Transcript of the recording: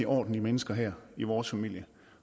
ordentlige mennesker her i vores familie